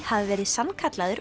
hafi verið sannkallaður